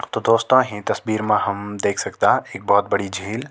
तो दोस्तों हीं तस्वीर मा हम देख सकदा एक भौत बड़ी झील।